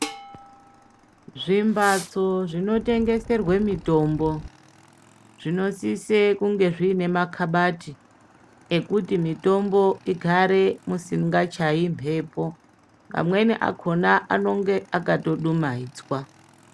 Zvimbatso zvino tengeserwa mitombo zvinosise zvine makabati ekuti mitombo igare musingachayi mhepo amweni akhona anenge akato dumaidzwa.